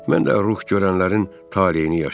Mən də ruh görənlərin taleyini yaşayıram.